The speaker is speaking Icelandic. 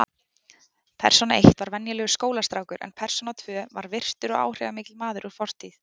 Persóna eitt var venjulegur skólastrákur en persóna tvö var virtur og áhrifamikill maður úr fortíð.